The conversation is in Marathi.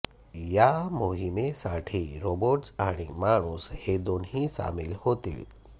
या मोहिमेसाठी रोबोट्स आणि माणूस हे दोन्ही सामील होतील